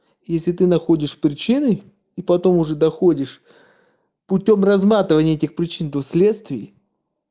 если ты находишь причины и потом уже доходишь путём разматывание этих причин в последствии